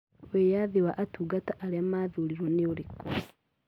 Wĩyathi wa atungata arĩa mathuurĩtwo nĩ ũrĩkũ?